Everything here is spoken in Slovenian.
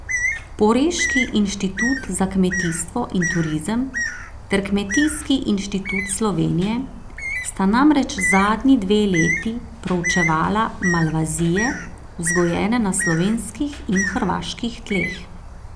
Poreški Inštitut za kmetijstvo in turizem ter Kmetijski inštitut Slovenije sta namreč zadnji dve leti proučevala malvazije, vzgojene na slovenskih in hrvaških tleh.